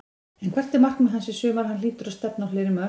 En hvert er markmið hans í sumar, hann hlýtur að stefna á fleiri mörk?